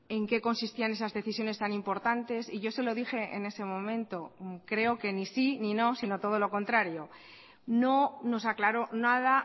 en qué consistían esas decisiones tan importantes y yo se lo dije en ese momento creo que ni sí ni no sino todo lo contrario no nos aclaró nada